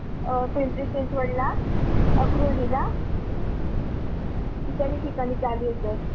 अं पिंपरी चिंचवडला, आक्रोळी ला इत्यादी ठिकाणी चालू आहेत sir.